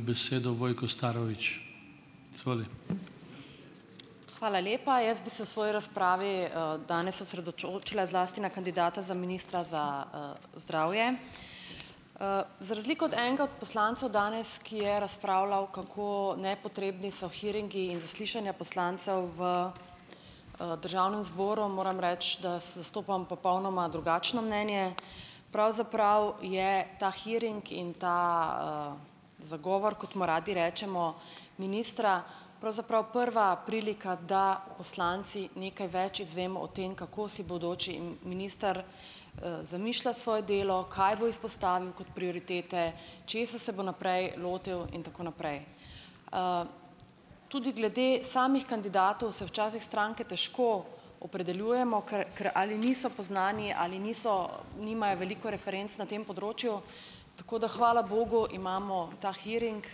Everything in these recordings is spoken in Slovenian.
besedo Vojko Starovič. Hvala lepa. Jaz bi se v svoji razpravi, danes osredotočila zlasti na kandidata za ministra za, zdravje. za razliko od enega od poslancev danes, ki je razpravljal, kako nepotrebni so hearingi in zaslišanja poslancev v, državnem zboru, moram reči, da zastopam popolnoma drugačno mnenje. Pravzaprav je ta hearing in ta, zagovor, kot mu radi rečemo, ministra pravzaprav prva prilika, da poslanci nekaj več izvemo o tem, kako si bodoči minister, zamišlja svoje delo, kaj bo izpostavil kot prioritete, česa se bo naprej lotil in tako naprej. Tudi glede samih kandidatov se včasih stranke težko opredeljujemo, ker ker ali niso poznani ali niso nimajo veliko referenc na tem področju, tako da hvala bogu imamo ta hearing,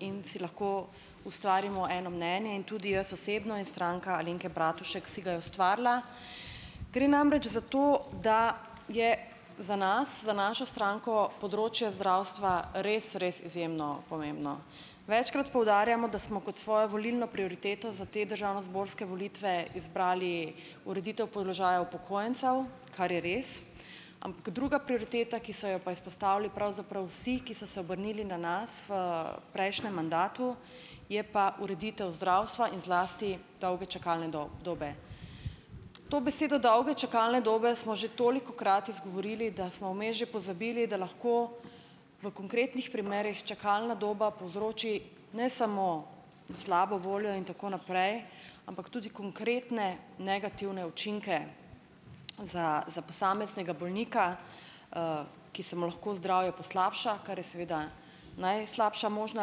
in si lahko ustvarimo eno mnenje. In tudi jaz osebno in Stranka Alenke Bratušek si ga je ustvarila. Gre namreč za to, da je za nas, za našo stranko, področje zdravstva res, res izjemno pomembno. Večkrat poudarjamo, da smo kot svojo volilno prioriteto za te državnozborske volitve izbrali ureditev položaja upokojencev, kar je res. druga prioriteta, ki so jo pa izpostavili pravzaprav vsi, ki so se obrnili na nas v prejšnjem mandatu, je pa ureditev zdravstva in zlasti dolge čakalne dobe. To besedo dolge čakalne dobe smo že tolikokrat izgovorili, da smo vmes že pozabili, da lahko v konkretnih primerih čakalna doba povzroči ne samo slabo voljo in tako naprej, ampak tudi konkretne negativne učinke, za za posameznega bolnika, ki se mu lahko zdravje poslabša. Kar je seveda najslabša možna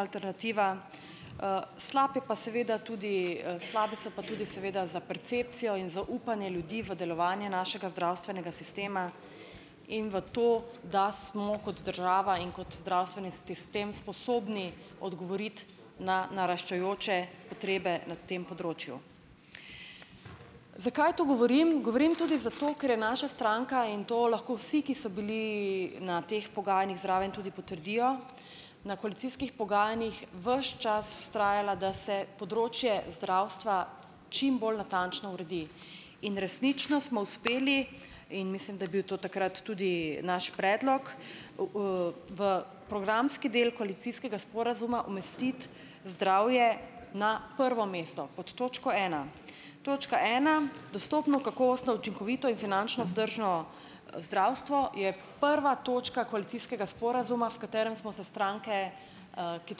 alternativa. slab je pa seveda tudi, slabe so pa tudi seveda za percepcijo in za upanje ljudi v delovanje našega zdravstvenega sistema in v to, da smo kot država in kot zdravstveni sistem sposobni odgovoriti na naraščajoče potrebe na tem področju. Zakaj to govorim? Govorim tudi zato , ker je naša stranka - in to lahko vsi, ki so bili na teh pogajanjih zraven, tudi potrdijo, na koalicijskih pogajanjih ves čas vztrajala, da se področje zdravstva čim bolj natančno uredi. In resnično smo uspeli in mislim, da je bil to takrat tudi naš predlog v, v programski del koalicijskega sporazuma umestiti zdravje na prvo mesto. Pod točko ena. Točka ena dostopno, kakovostno, učinkovito in finančno vzdržno, zdravstvo, je prva točka koalicijskega sporazuma, v katerem smo se stranke, ki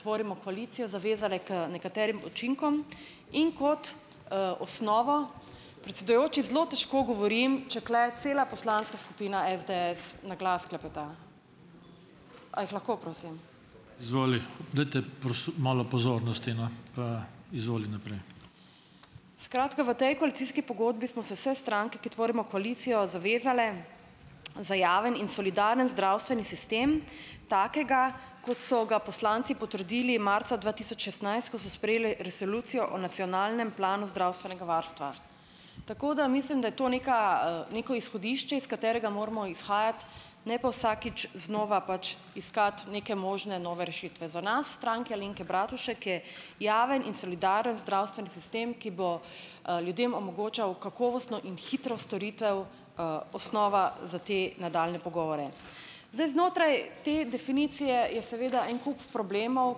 tvorimo koalicijo, zavezale k nekaterim učinkom in kot, osnovo. Predsedujoči, zelo težko govorim, če tule cela poslanska skupina SDS na glas klepeta. A jih lahko, prosim? Skratka, v tej koalicijski pogodbi smo se vse stranke, ki tvorimo koalicijo, zavezale, za javen in solidaren zdravstveni sistem, takega, kot so ga poslanci potrdili marca dva tisoč ko so sprejeli resolucijo o nacionalnem planu zdravstvenega varstva. Tako da mislim, da je to neka, neko izhodišče, iz katerega moramo izhajati, ne pa vsakič znova pač iskati neke možne nove rešitve. Za nas, Stranko Alenke Bratušek, je javen in solidaren zdravstveni sistem, ki bo, ljudem omogočal kakovostno in hitro storitev, osnova za te nadaljnje pogovore. Zdaj, znotraj te definicije je seveda en kup problemov,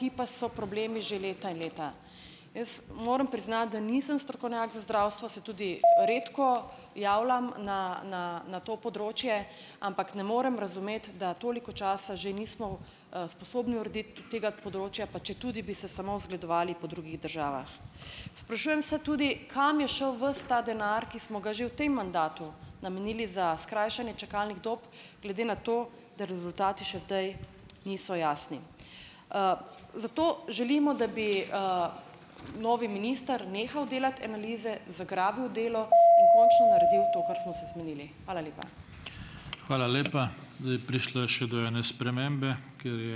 ki pa so problemi že leta in leta. Jaz moram priznati, da nisem strokovnjak za zdravstvo, se tudi redko javljam na na na to področje, ampak ne morem razumeti, da toliko časa že nismo, sposobni urediti tega področja, pa četudi bi se samo zgledovali po drugih državah. Sprašujem se tudi, kam je šel ves ta denar, ki smo ga že v tem mandatu namenili za skrajšanje čakalnih dob, glede na to, da rezultati še niso jasni? Zato želimo, da bi, novi minister nehal delati analize, zagrabil delo in končno naredil to, kar smo se zmenili. Hvala lepa. Hvala lepa. Zdaj, prišlo je še do ene spremembe, ker je ...